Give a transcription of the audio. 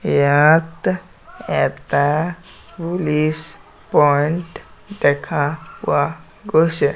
ইয়াত এটা police point দেখা পোৱা গৈছে।